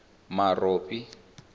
marobi